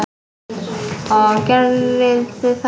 Og gerið þið það?